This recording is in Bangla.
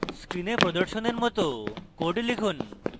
screen প্রদর্শনের মত code লিখুন